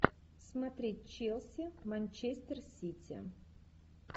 смотреть челси манчестер сити